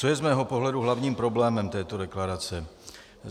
Co je z mého pohledu hlavním problémem této deklarace?